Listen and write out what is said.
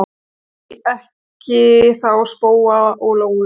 Því ekki þá spóa og lóu?